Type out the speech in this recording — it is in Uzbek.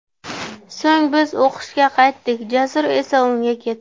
So‘ng biz o‘qishga qaytdik, Jasur esa uyga ketdi.